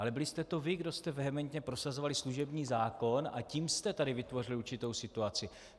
Ale byli jste to vy, kdo jste vehementně prosazovali služební zákon, a tím jste tady vytvořili určitou situaci.